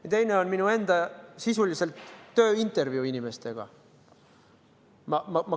Ja teine on minu enda sisuliselt tööintervjuu inimestega.